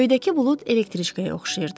Göydəki bulud elektriçkaya oxşayırdı.